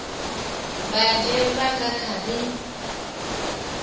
mbanzhe vha nga kha ḓi